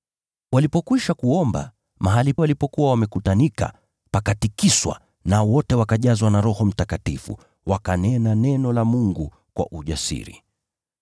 Walipokwisha kuomba, mahali walipokuwa wamekutanika pakatikiswa, wote wakajazwa na Roho Mtakatifu, wakanena neno la Mungu kwa ujasiri.